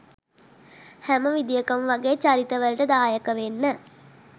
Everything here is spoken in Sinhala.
හැම විදියකම වගේ චරිතවලට දායක වෙන්න